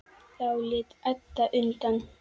Þá lét Edda undan.